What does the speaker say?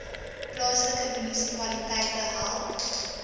plaaslike munisipaliteite help